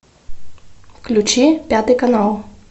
включи пятый канал